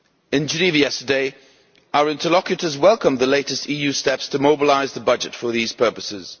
In Geneva yesterday our interlocutors welcomed the latest EU steps to mobilise the budget for these purposes.